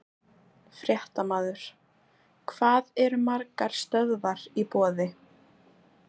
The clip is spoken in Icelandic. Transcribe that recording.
Fréttamaður: Hvað eru margar stöðvar í boði?